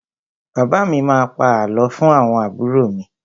Bàbá mi má a pa àlọ́ fún àwọn àbúrò mi.